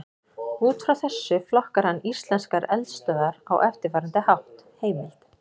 Út frá þessu flokkar hann íslenskar eldstöðvar á eftirfarandi hátt: Heimild: